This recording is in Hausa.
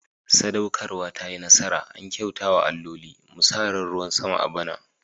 Sadaukarwa ta yi nasara, an kyauta wa alloli. Mu sa ran ruwan sama a bana.